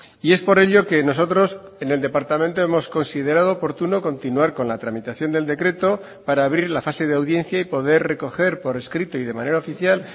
y es por ello que nosotros en el departamento hemos considerado oportuno continuar con la tramitación del decreto para abrir la fase de audiencia y poder recoger por escrito y de manera oficial